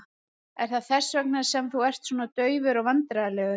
Er það þess vegna sem þú ert svona daufur og vandræðalegur?